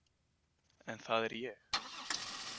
En það er ég.